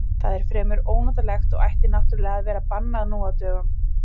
Það er fremur ónotalegt og ætti náttúrlega að vera bannað nú á dögum.